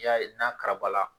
N'i y'a ye n'a karabala